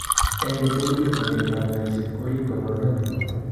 Eng' kotugul, makeetap ny'aayset ko riib kaabarunet ny'wan.